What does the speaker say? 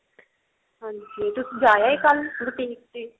ਹਾਂਜੀ ਤੁਸੀਂ ਜਾ ਆਏ ਕੱਲ boutique ਦੇ